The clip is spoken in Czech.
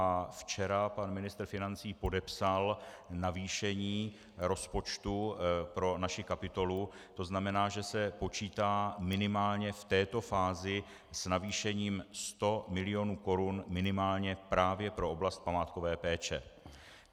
A včera pan ministr financí podepsal navýšení rozpočtu pro naši kapitolu, to znamená, že se počítá minimálně v této fázi s navýšením 100 milionů korun minimálně právě pro oblast památkové péče.